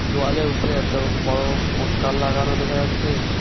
দোয়ালের উপরে একটা বড় পোস্টার লাগানো দেখা যাচ্ছে।